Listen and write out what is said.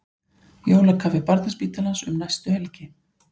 Jólakaffi Barnaspítalans um næstu helgi